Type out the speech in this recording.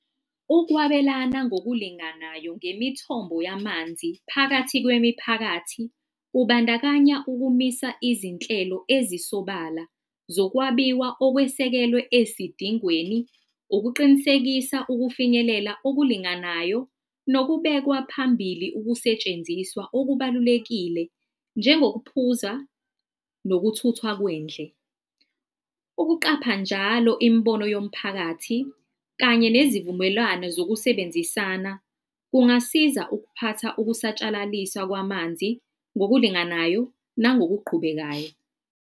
Ukwabelana ngokulinganayo ngemithombo yamanzi phakathi kwemiphakathi, kubandakanya ukumisa izinhlelo ezisobala zokwabiwa okwesekelwe esidingweni, ukuqinisekisa ukufinyelela okulinganayo nokubekwa phambili ukusetshenziswa okubalulekile njengokuphuza nokuthuthwa kwendle. Ukuqapha njalo imibono yomphakathi kanye nezivumelwano zokusebenzisana, kungasiza ukuphatha ukusatshalaliswa kwamanzi ngokulinganayo nangokuqhubekayo.